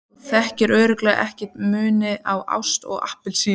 Þú þekkir örugglega ekki muninn á ást og appelsínu.